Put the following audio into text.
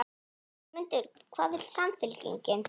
Sigmundur: Hvað vill Samfylkingin?